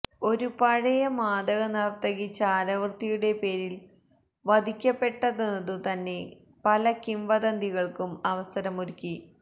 ഒരു പഴയ മാദകനർത്തകി ചാരവൃത്തിയുടെ പേരിൽ വധിക്കപ്പെട്ടെന്നതു തന്നെ പല കിംവദന്തികൾക്കും അവസരമൊരുക്കി